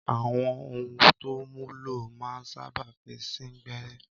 Àwọn ohun tó mú lọ́ máa ń sáábà fi sín gbẹ́rẹ́